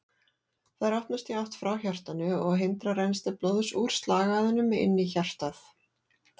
Þær opnast í átt frá hjartanu og hindra rennsli blóðs úr slagæðunum inn í hjartað.